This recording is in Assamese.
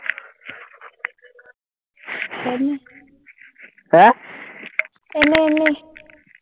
আহ এনেই এনেই